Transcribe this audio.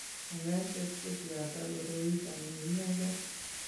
Kanyoiset ko beote koroito ne inegee.